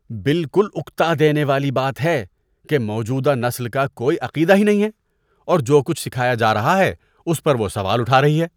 بالکل اکتا دینے والی بات ہے کہ موجودہ نسل کا کوئی عقیدہ ہی نہیں ہے اور جو کچھ سکھایا جا رہا ہے اس پر وہ سوال اٹھا رہی ہے۔